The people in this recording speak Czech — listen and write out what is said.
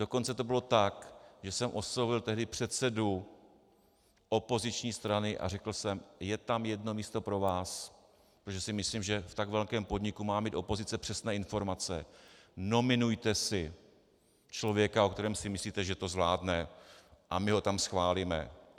Dokonce to bylo tak, že jsem oslovil tehdy předsedu opoziční strany a řekl jsem: je tam jedno místo pro vás, protože si myslím, že v tak velkém podniku má mít opozice přesné informace, nominujte si člověka, o kterém si myslíte, že to zvládne, a my ho tam schválíme.